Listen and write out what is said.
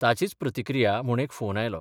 ताचीच प्रतिक्रिया म्हूण एक फोन आयलो.